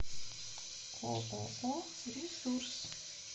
ооо ресурс